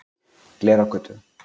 Glerárgötu